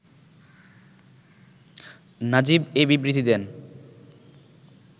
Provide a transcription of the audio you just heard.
নাজিব এ বিবৃতি দেন